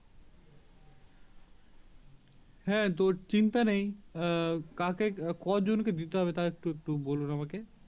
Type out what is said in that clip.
হ্যাঁ তো চিন্তা নেই কাকে কজনকে দিতে হবে বলুন আমাকে